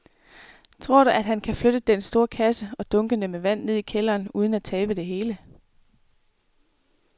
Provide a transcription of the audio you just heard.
Tror du, at han kan flytte den store kasse og dunkene med vand ned i kælderen uden at tabe det hele?